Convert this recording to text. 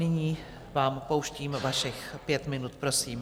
Nyní vám pouštím vašich pět minut, prosím.